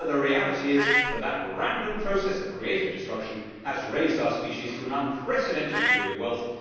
But the reality is that this random process of creative destruction has raised our species to an unprecedented degree of wealth.